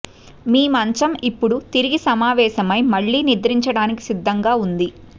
మీ మంచం ఇప్పుడు తిరిగి సమావేశమై మళ్లీ నిద్రించడానికి సిద్ధంగా ఉంది